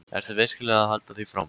Ertu virkilega að halda því fram?